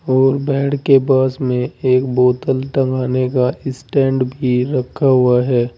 और बेड के पास में एक बोतल टांगने का स्टैंड भी रखा हुआ है।